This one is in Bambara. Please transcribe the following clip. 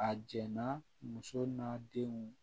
A jɛnna muso n'a denw